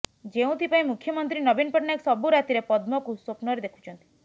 ଯେଉଁଥିପାଇଁ ମୁଖ୍ୟମନ୍ତ୍ରୀ ନବୀନ ପଟ୍ଟନାୟକ ସବୁ ରାତିରେ ପଦ୍ମକୁ ସ୍ୱପ୍ନରେ ଦେଖୁଛନ୍ତିି